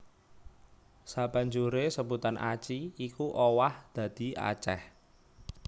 Sabanjuré sebutan Aci iku owah dadi Aceh